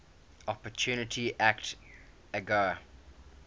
opportunity act agoa